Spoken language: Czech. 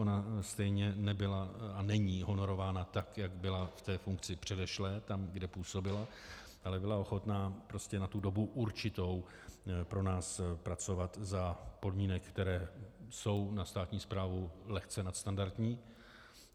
Ona stejně nebyla a není honorována tak, jak byla v té funkci předešlé, tam, kde působila, ale byla ochotná prostě na tu dobu určitou pro nás pracovat za podmínek, které jsou na státní správu lehce nadstandardní.